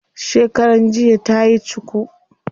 Shekaran jiya tayi cuku.